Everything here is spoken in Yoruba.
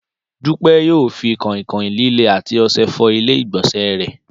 Dúpẹ́ yóò fi kọ̀ìnkọ̀ìn líle àti ọṣẹ fọ ilé ìgbọ̀nsẹ̀ rẹ̀